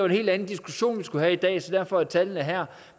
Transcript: helt anden diskussion vi skulle have i dag så derfor er tallene her